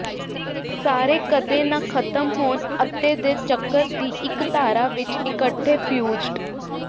ਸਾਰੇ ਕਦੇ ਨਾ ਖਤਮ ਹੋਣ ਅਤਿ ਦੇ ਚੱਕਰ ਦੀ ਇੱਕ ਧਾਰਾ ਵਿੱਚ ਇਕੱਠੇ ਫਿਊਜ਼ਡ